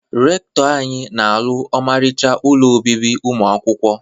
Rekụtọ anyị na alụ ọmarịcha ụlọ obibi ụmụ akwụkwọ.